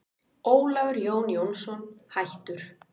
Ólafur Jón Jónsson, hættur